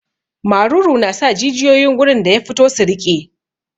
Maruru na sa jijiyoyin gurin da ya fito su riƙe.